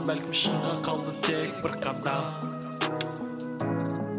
бәлкім шыңға қалды тек бір қадам